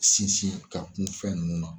Sinsin ka kun fɛn nunnu na.